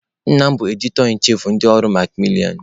Nna m bụ 'editor in chief' ndị ụlọ ọrụ makmilianụ.